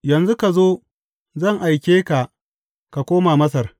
Yanzu ka zo, zan aike ka ka koma Masar.’